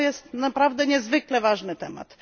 To jest naprawdę niezwykle ważny temat.